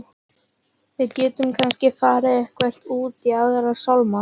Við gætum kannski farið eitthvað út í Aðra sálma.